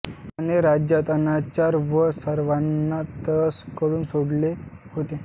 याने राज्यात अनाचार व सर्वाना त्रस्त करून सोडले होते